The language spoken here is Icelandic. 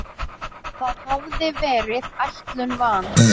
Það hafði verið ætlun van